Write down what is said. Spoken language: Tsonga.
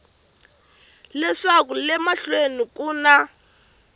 leswaku le mahlweni ku na